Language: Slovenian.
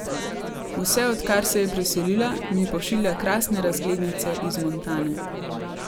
Vse odkar se je preselila, mi pošilja krasne razglednice iz Montane.